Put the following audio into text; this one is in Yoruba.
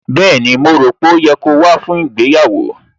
Bẹ́ẹ̀ni, mo rò pé ó yẹ kí o wá fún ìgbéyàwó